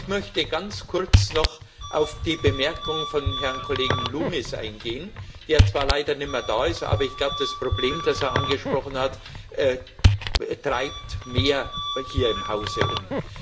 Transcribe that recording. Ich möchte ganz kurz noch auf die Bemerkung von Herrn Kollegen Loones eingehen, der zwar leider nicht mehr da ist, aber ich glaube, das Problem, das er angesprochen hat, treibt mehr Kollegen hier im Haus um.